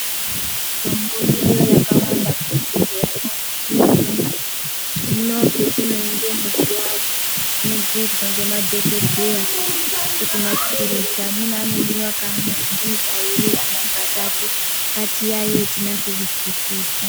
Mitombo iyo yakawanda muzvibhedhleyamo mwetinoenda. Hino petinoendemo zviyani, tinobhuyirwa ngemadhokodheya kuti maphirizi amweni anomwiwa kamwe, amweni kairi amweni katatu. Ngatiyaiye tinase kuzwisisa.